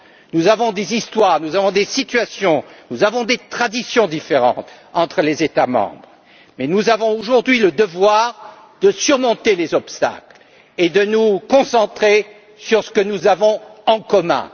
Nous avons des histoires, nous avons des situations, nous avons des traditions différentes entre les États membres, mais nous avons aujourd'hui le devoir de surmonter les obstacles et de nous concentrer sur ce que nous avons en commun.